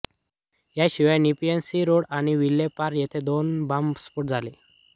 या शिवाय Nepean sea road आणि व्हिले पार्ले येथे दोन बॉम्ब स्फोट झाले